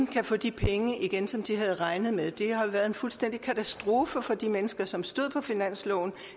kan få de penge igen som de havde regnet med det har været en fuldstændig katastrofe for de mennesker som stod på finansloven